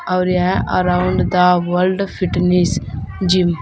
और यह around the world fitness gym --